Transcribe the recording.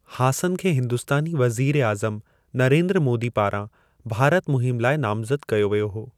हासन खे हिंदुस्तानी वज़ीर-ए-आज़म नरेंद्र मोदी पारां भारत मुहिम लाइ नामज़द कयो व्यो हो।